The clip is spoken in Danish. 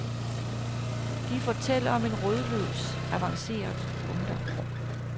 De fortæller om en rodløs, avanceret ungdom.